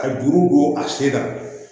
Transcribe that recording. Ka juru don a sen kan